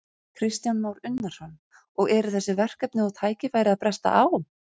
Kristján Már Unnarsson: Og eru þessi verkefni og tækifæri að bresta á?